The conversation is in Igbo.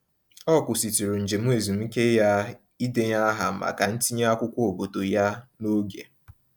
Ọ kwụsịtụrụ njem ezumiike ya idenye aha maka ntinye akwụkwọ obodo ya n'oge.